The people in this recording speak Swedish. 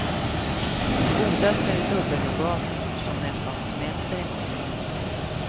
Godast är dubbelnougat som nästan smälter i munnen.